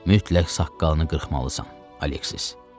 Mütləq saqqalını qırxmalısan, Aleksis.